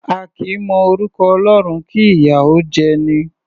A kì í mọ orúkọ Ọlọ́run, kí ìyà ó jẹ'ni.